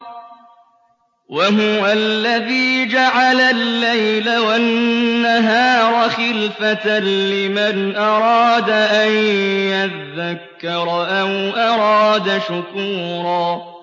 وَهُوَ الَّذِي جَعَلَ اللَّيْلَ وَالنَّهَارَ خِلْفَةً لِّمَنْ أَرَادَ أَن يَذَّكَّرَ أَوْ أَرَادَ شُكُورًا